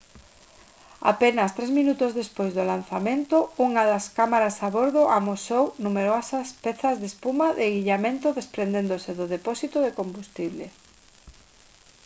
apenas 3 minutos despois do lanzamento unha das cámaras a bordo amosou numerosas pezas de espuma de illamento desprendéndose do depósito de combustible